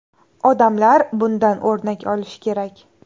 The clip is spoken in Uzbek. Odamlar bundan o‘rnak olishi kerak.